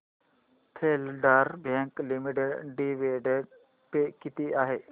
federal Bank Limited dividend pay किती आहे